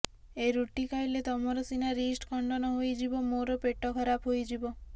ଏ ରୁଟି ଖାଇଲେ ତମର ସିନା ରିଷ୍ଟ ଖଣ୍ଡନ ହୋଇଯିବ ମୋର ପେଟ ଖରାପ ହୋଇଯିବ